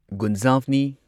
ꯒꯨꯟꯖꯥꯚꯅꯤ